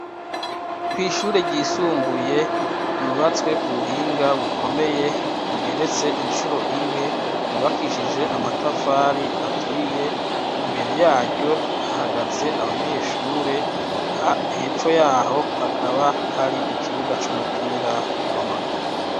Kw'ishure ryisumbuye, ryubatswe ku buhinga bukomeye, igeretse incuro imwe, yubakishije amatafari aturiye, imbere yaryo, hahagaze abanyeshure, hepfo y'aho, hakaba hari ikibuga c'umupira w'amaguru.